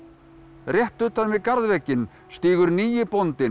rétt utan við stígur nýi bóndinn